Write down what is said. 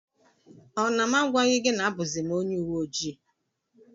Ọ na m agwaghi gị na abuzim ọnye uweojii?